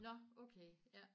Nåh okay ja